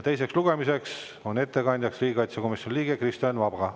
Teisel lugemisel on ettekandjaks riigikaitsekomisjoni liige Kristo Enn Vaga.